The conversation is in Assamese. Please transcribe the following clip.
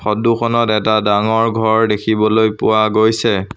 ফটো খনত এটা ডাঙৰ ঘৰ দেখিবলৈ পোৱা গৈছে।